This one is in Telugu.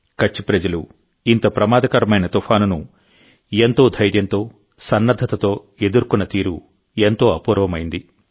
కచ్ ప్రజలు ఇంత ప్రమాదకరమైన తుఫానును ఎంతో ధైర్యంతో సన్నద్ధతతో ఎదుర్కొన్న తీరు ఎంతో అపూర్వమైంది